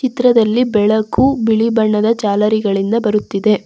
ಚಿತ್ರದಲ್ಲಿ ಬೆಳಕು ಬಿಳಿ ಬಣ್ಣದ ಜಾಲರಿಗಳಿಂದ ಬರುತ್ತಿದೆ.